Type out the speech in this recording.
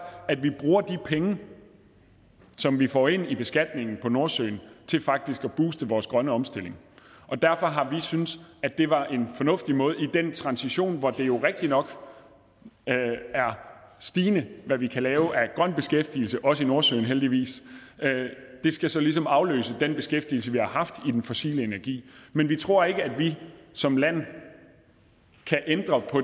at vi bruger de penge som vi får ind i beskatningen på nordsøen til faktisk at booste vores grønne omstilling og derfor har vi syntes at det var en fornuftig måde at i den transition hvor det jo rigtignok er stigende hvad vi kan lave af grøn beskæftigelse også i nordsøen heldigvis det skal så ligesom afløse den beskæftigelse vi har haft i den fossile energi men vi tror ikke på at vi som land kan ændre på